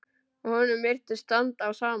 Og honum virtist standa á sama.